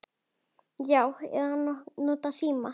Já. eða notað símann.